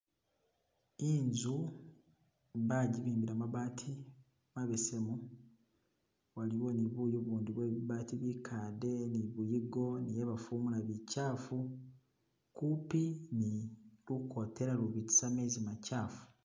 Inzu bajibimba mabaati mabesemu haliwo ni buyu bundi bwe bibaati bikade ni biyigo ni habafumula bichafu kupi ni lukotela lubitisa mezi machafu